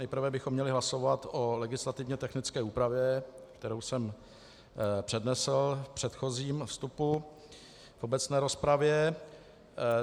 Nejprve bychom měli hlasovat o legislativně technické úpravě, kterou jsem přednesl v předchozím vstupu v obecné rozpravě.